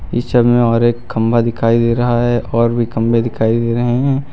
Picture में और एक खंभा दिखाई दे रहा है और भी खंभे दिखाई दे रहे हैं।